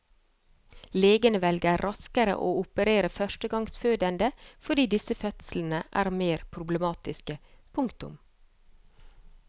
Legene velger raskere å operere førstegangsfødende fordi disse fødslene er mer problematiske. punktum